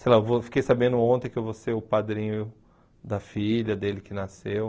Sei lá, eu vou fiquei sabendo ontem que eu vou ser o padrinho da filha dele, que nasceu.